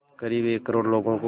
क़रीब एक करोड़ लोगों को